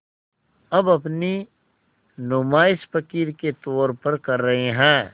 अब अपनी नुमाइश फ़क़ीर के तौर पर कर रहे हैं